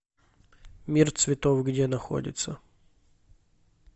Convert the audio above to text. мир цветов где находится